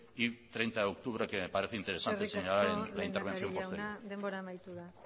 y treinta de octubre que me parece interesante señalar en la intervención posterior eskerrik asko lehendakari jauna denbora amaitu da